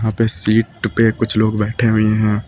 पे सीट पे कुछ लोग बैठे हुए हैं।